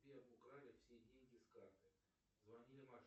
сбер украли все деньги с карты звонили мошенники